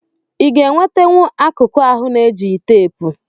Iga enwetenwu akụku ahu na ejigh tepu?